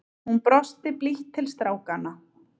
Hún brosti blítt til strákanna.